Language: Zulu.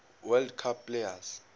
world cup players